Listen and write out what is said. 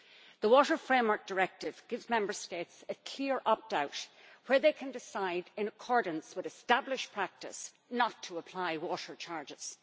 The Water Framework Directive gives Member States a clear opt-out where they can decide, in accordance with established practice, not to apply water charges.